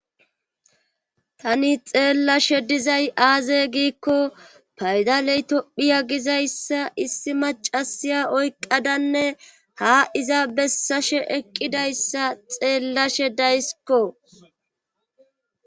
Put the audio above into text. tani xeellashe dizay aaze giikko paydaley tophiya gizayssa issi macasiya oyqqadanne ha iza bessashe eqqidayssa xeellashe daysikko